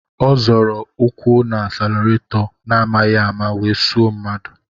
Ọ zọrọ ụkwụ n'asilaretọ n'amaghi ama wee suo mmadụ.